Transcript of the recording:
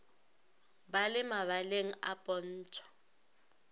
ba le mabaleng a pontšho